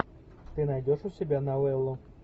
ты найдешь у себя новеллу